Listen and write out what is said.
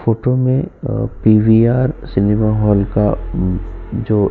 photo में PVR cinema hall का जो --